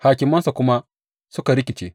Hakimansa kuma suka rikice.